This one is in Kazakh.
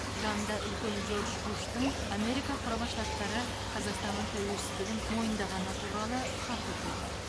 жанында үлкен джордж буштың америка құрама штаттары қазақстанның тәуелсіздігін мойындағаны туралы хаты тұр